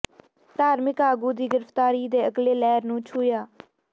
ਧਾਰਮਿਕ ਆਗੂ ਦੀ ਗ੍ਰਿਫਤਾਰੀ ਦੇ ਅਗਲੇ ਲਹਿਰ ਨੂੰ ਛੂਹਿਆ